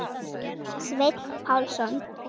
Sveinn Pálsson